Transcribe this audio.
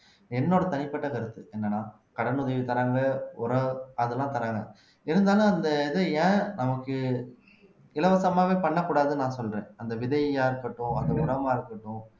என்னோட தனிப்பட்ட கருத்து என்னன்னா கடன் உதவி தர்றாங்க உரம் அதெல்லாம் தர்றாங்க இருந்தாலும் அந்த இத ஏன் நமக்கு இலவசமாவே பண்ணக்கூடாதுன்னு நான் சொல்றேன் அந்த விதையா இருக்கட்டும் அந்த உரமா இருக்கட்டும்